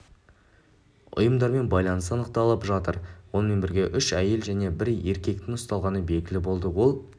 ұйымдармен байланысы анықталып жатыр онымен бірге үш әйел және бір ерекектің ұсталғаны белгілі болды ол